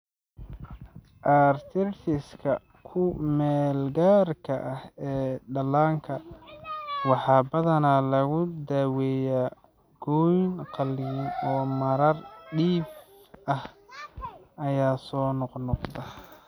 Arteritis-ka ku meelgaarka ah ee dhallaanka waxaa badanaa lagu daaweeyaa gooyn qalliin oo marar dhif ah ayaa soo noqnoqda.